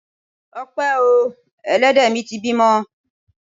Ọpẹ o! Elédè mi ti bímọ.